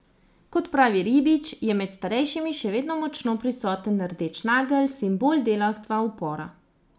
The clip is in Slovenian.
Kot pravi Ribič, je med starejšimi še vedno močno prisoten rdeč nagelj, simbol delavstva, upora.